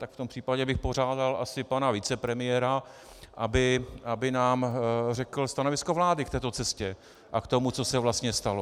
Tak v tom případě bych požádal asi pana vicepremiéra , aby nám řekl stanovisko vlády k této cestě a k tomu, co se vlastně stalo.